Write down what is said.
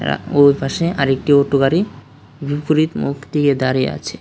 ওই পাশে আরেকটি অটো গাড়ি বিপরীত মুখ দিয়ে দাঁড়িয়ে আছে।